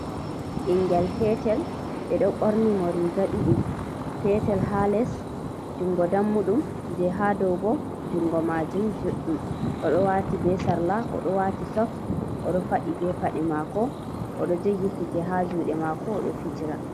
Ɓingel petel. Ɓe ɗo ɓorni mo riga ɗiɗi, petel haa les jungo dammuɗum, je haa dow bo jungo maajum juɗɗum, oɗo waati be sarla, oɗo waati sok, oɗo faɗi be paɗe maako, oɗo jogi kuje haa juuɗe maako oɗo fijira.